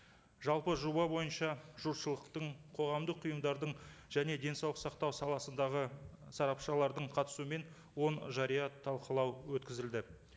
жалпы жоба бойынша жұртшылықтың қоғамдық ұйымдардың және денсаулық сақтау саласындағы сарапшылардың қатысуымен он жария талқылау өткізілді